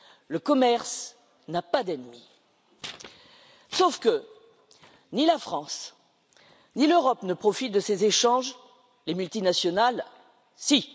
Le commerce n'a pas d'ennemi, sauf que ni la France, ni l'Europe ne profitent de ces échanges, quant aux multinationales, oui.